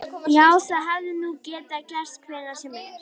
Já, það hefði nú getað gerst hvenær sem er.